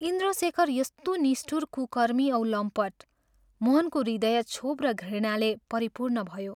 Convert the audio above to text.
इन्द्रशेखर यस्तो निष्ठुर कुकर्मी औ लम्पट, मोहनको हृदय क्षोभ र घृणाले परिपूर्ण भयो।